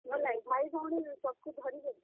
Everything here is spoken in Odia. ଭାଇ, ଭଉଣୀ ସମଙ୍କୁ ଧରିକି ଯିମାଁ।